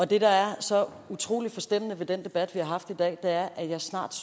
det der er så utrolig forstemmende ved den debat vi har haft i dag er at vi snart